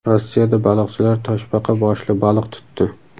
Rossiyada baliqchilar toshbaqa boshli baliq tutdi.